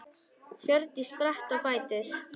Hjördís spratt á fætur.